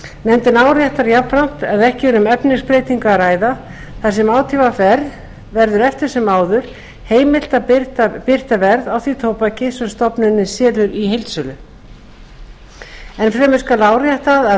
nefndin áréttar jafnframt að ekki er um efnisbreytingu að ræða þar sem átvr verður eftir sem áður heimilt að birta verð á því tóbaki sem stofnunin selur í heildsölu enn fremur skal áréttað að